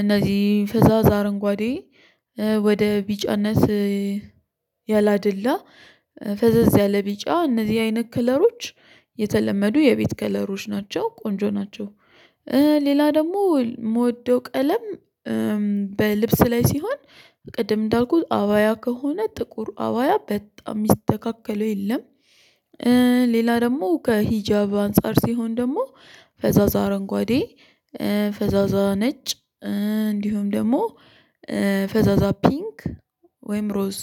እነዚህ ፍዛዛ አረንጓዴ ወደ ቢጫነስ ያላደላ ፈዘዝ ያለ ቢጫ እነዚህ አይነት ከለሮች የተለመዱ የቤት ከለሮች ናቸው። ቆንጆ ናቸው። ሌላ ደግሞ የምወደው ቀለም በልብስ ላይ ሲሆን ቅድም እንዳልኩት አዋያ ከሆነ ጥቁር አዋያ በጣም የሚስተካከለው የለም። ሌላ ደግሞ ከሂጃብ አንፃር ሲሆን ደግሞ ፈዛዛ አረንጓዴ። ፈዛዛ ነጭ። እንዲሁም ደግሞ ፈዛዛ ፒንክ። ወይም ሮዝ